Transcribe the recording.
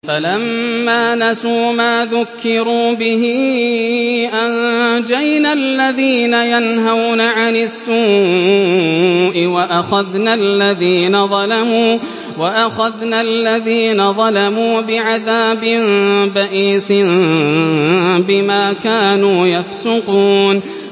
فَلَمَّا نَسُوا مَا ذُكِّرُوا بِهِ أَنجَيْنَا الَّذِينَ يَنْهَوْنَ عَنِ السُّوءِ وَأَخَذْنَا الَّذِينَ ظَلَمُوا بِعَذَابٍ بَئِيسٍ بِمَا كَانُوا يَفْسُقُونَ